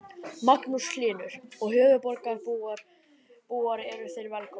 Magnús Hlynur: Og höfuðborgarbúar eru þeir velkomnir?